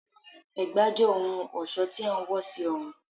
Ègbá jẹ ohun ọṣọ tí a wò sí ọrun